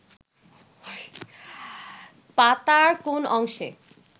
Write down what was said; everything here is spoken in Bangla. পাতার কোন অংশে